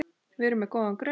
Við erum með góðan grunn.